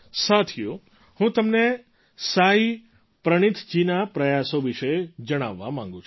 સાથીઓ હું તમને સાઈ પ્રનીથજીના પ્રયાસો વિશે જણાવવા માગું છું